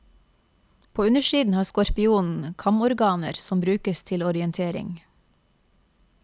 På undersiden har skorpionen kamorganer som brukes til orientering.